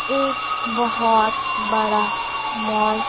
एक बहोत बड़ा मॉल --